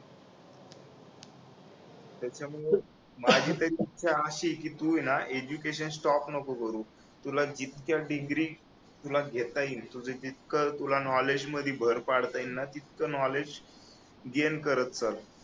त्याच्यामुळे माझी तरी इच्छा अशी आहे कि तू आहे ना एज्युकेशन स्टॉप नको करू तुला जितक्या डिग्री तुला घेता येईल तुझं जितकं तुझ नॉलेज मध्ये भर पाडता येईल ना तितकं नॉलेज गेन करत चल